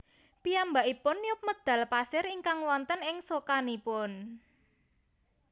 Piyambakipun niup medhal pasir ingkang wonten ing socanipun